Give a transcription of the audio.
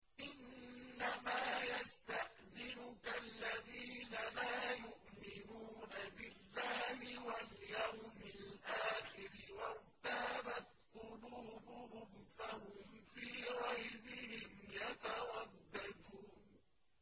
إِنَّمَا يَسْتَأْذِنُكَ الَّذِينَ لَا يُؤْمِنُونَ بِاللَّهِ وَالْيَوْمِ الْآخِرِ وَارْتَابَتْ قُلُوبُهُمْ فَهُمْ فِي رَيْبِهِمْ يَتَرَدَّدُونَ